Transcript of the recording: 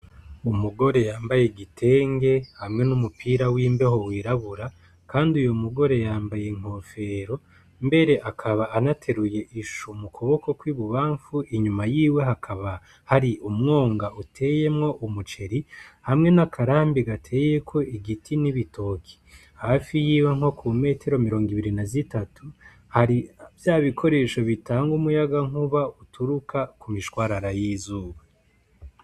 Umugore yambaye igitenge hamwe n'umupira w'imbeho w'irabura, kandi uyugore yambaye inkofero mbere aka anateruye ishu mu kuboko kw'ibubamfu inyuma yiwe hakaba hari umwonga uteyemwo umuceri hamwe n'akarambi gateyeko ibiti n'ibitoki hafi yiwe nko ku metero mirongo ibiri na zitanu hari vyabikoresho bitanga umuyaga nkuba uturuka kumishwarara y'izuba.